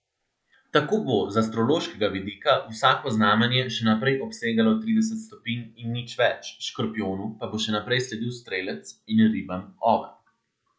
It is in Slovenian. Tako bo z astrološkega vidika vsako znamenje še naprej obsegalo trideset stopinj in nič več, škorpijonu pa bo še naprej sledil strelec in ribam oven.